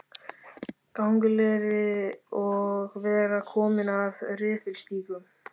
Gangleri og vera kominn af refilstígum.